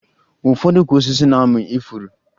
Ụfọdụ ukwu osisi na-amị ifuru